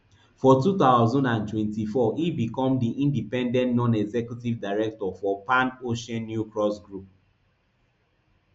for two thousand and twenty-four e become di independent nonexecutive director for pan oceannewcross group